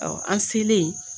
an selen